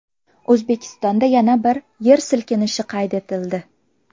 O‘zbekistonda yana bir yer silkinishi qayd etildi.